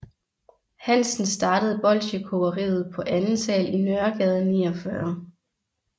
Hansen startede bolchekogeriet på anden sal i Nørregade 49